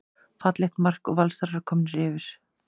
Fallegt mark og Valsarar komnir yfir.